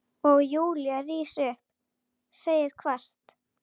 Og Júlía rís upp, segir hvasst